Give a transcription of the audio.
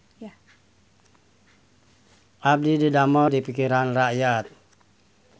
Abdi didamel di Pikiran Rakyat